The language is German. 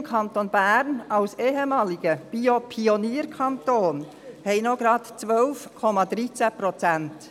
Unser Kanton Bern, als ehemaliger Bio-Pionierkanton, hat gerade noch 12,13 Prozent.